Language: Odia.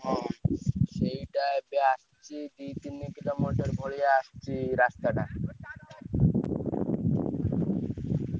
ହଁ ସେଇଟା ଏ ବେ~ ଆସି ଛି~ ଦି ତିନି କିଲୋ ମୌଜାର ଭଳିଆ ଆସିଛି ରାସ୍ତା ଟା